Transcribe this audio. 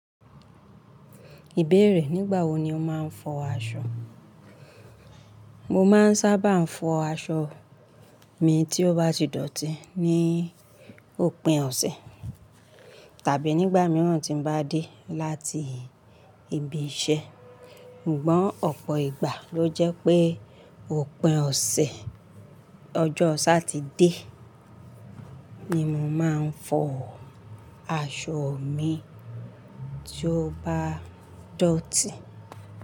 Ìbéèrè, nígbà wo ni o máa ń fọ aṣọ? Mo máa ń sábà fọ aṣọ mi tí ó bá ti dọ̀tí ní òpin ọ̀sẹ̀ tàbí nígbà mìíràn tí n bá dé láti ibi iṣẹ́. Ṣùgbọ́n ọ̀pọ̀ ìgbà ló jẹ́ pé òpin ọ̀sẹ̀ ọjọ́ Satide ni mo máa ń fọ aṣọ mi tí ó bá dọ̀tí.